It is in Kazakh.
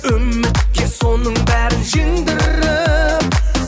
үмітке соның бәрін жеңдіріп